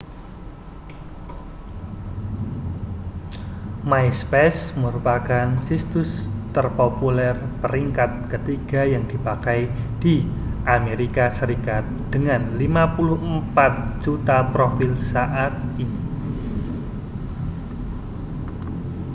myspace merupakan situs terpopuler peringkat ketiga yang dipakai di amerika serikat dengan 54 juta profil saat ini